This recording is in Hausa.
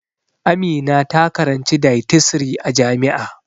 Amina ta karanci dietisry a jami'a